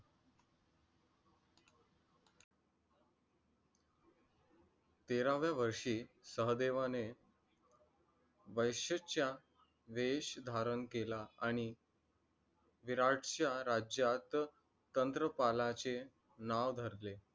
तेरावे वर्षी सहदेवाने वैश्येचा वेश धारण केला. आणि विराटच्या राज्यात तंत्रपालाचे नाव धरले.